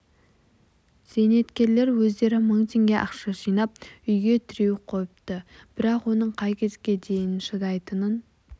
зейнеткерлер өздері мың теңге ақша жинап үйге тіреу қойыпты бірақ оның қай кезге дейін шыдайтынын